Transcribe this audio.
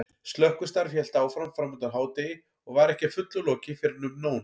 Slökkvistarf hélt áfram framundir hádegi og var ekki að fullu lokið fyrren um nón.